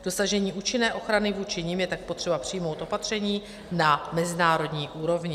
K dosažení účinné ochrany vůči nim je tak potřeba přijmout opatření na mezinárodní úrovni.